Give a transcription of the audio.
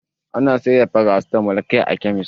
Ana saida farasitamo kai a kemis.